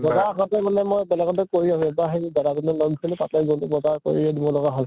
বজাৰ আগতেই মই বেলেগতে কৰি আছো, এতিয়া সেই দাদা জনে লগ ধৰিলে, তাতে গʼলো । বজাৰ কৰিয়ে দিব লগা হʼল ।